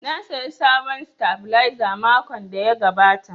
Na saya sabon sitabilizer makon da ya gabata